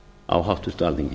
á háttvirtu alþingi